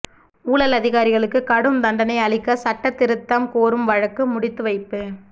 ஊழல் அதிகாரிகளுக்கு கடும் தண்டனை அளிக்கசட்ட திருத்தம் கோரும் வழக்கு முடித்துவைப்பு